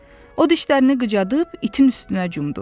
O dişlərini qıcadıb itin üstünə cumdu.